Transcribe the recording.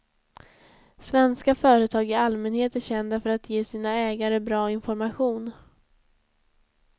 Svenska företag i allmänhet är kända för att ge sina ägare bra information.